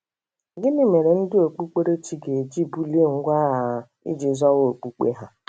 Gịnị mere ndị Okpụkpere chi ga-eji bulie ngwa agha iji zọwa okpukpe ha?